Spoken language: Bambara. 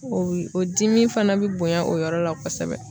O bi, o dimi fana be bonya o yɔrɔ la kɔsɛbɛ.